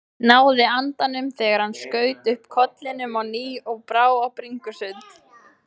Náði andanum þegar hann skaut upp kollinum á ný og brá á bringusund.